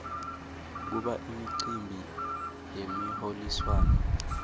kuba imicimbi yemiholiswano